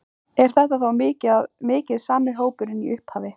Er þetta þá mikið sami hópurinn og í upphafi?